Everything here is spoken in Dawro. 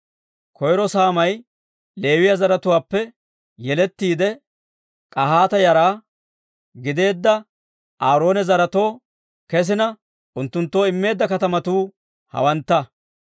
Koyro saamay Leewiyaa zaratuwaappe yelettiidde, K'ahaata yara gideedda Aaroona zaretoo kesina, unttunttoo immeedda katamatuu hawantta: